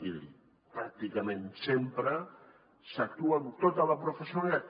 i pràcticament sempre s’actua amb tota la professionalitat